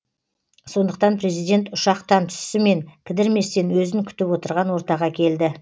сондықтан президент ұшақтан түсісімен кідірместен өзін күтіп отырған ортаға келді